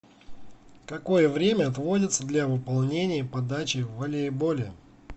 какое время отводится для выполнения подачи в волейболе